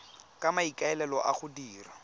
ka maikaelelo a go dira